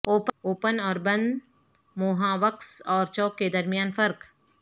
open اور بند mohawks اور چوک کے درمیان فرق